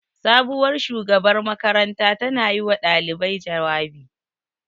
Sabuwar shugabar makaranta ta na yi wa ɗalibai jawabi